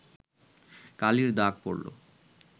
কালির দাগ পড়ল